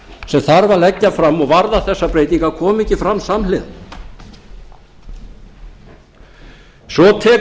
sem þarf að leggja fram og varða þessar breytingar koma ekki fram samhliða svo tekur steininn